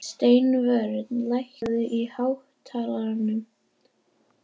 Steinvör, lækkaðu í hátalaranum.